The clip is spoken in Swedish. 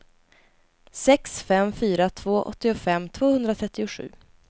sex fem fyra två åttiofem tvåhundratrettiosju